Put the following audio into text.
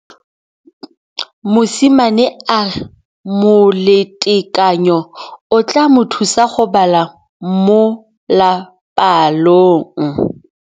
Mosimane a re molatekanyô o tla mo thusa go bala mo molapalong.